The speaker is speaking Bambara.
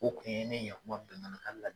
O kun ye ne ɲɛkuma bɛɛ lajɛlen ka la